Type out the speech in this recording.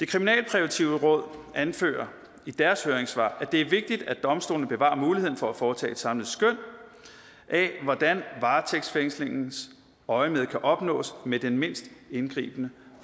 kriminalpræventive råd anfører i deres høringssvar at det er vigtigt at domstolene bevarer muligheden for at foretage et samlet skøn af hvordan varetægtsfængslingens øjemed kan opnås med den mindst indgribende